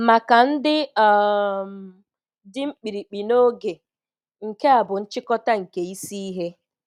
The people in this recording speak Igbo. Maka ndị um dị mkpirikpi n'oge, nke a bụ nchịkọta nke isi ihe: